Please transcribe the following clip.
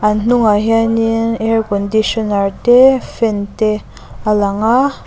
a hnungah hianin air conditioner te fan te a lang a--